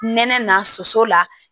Nɛnɛ na soso la